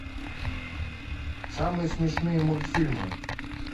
самые смешные мультфильмы